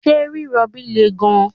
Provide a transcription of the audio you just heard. ṣe rirobi le gan